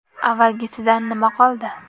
Avvalgisidan nima qoldi?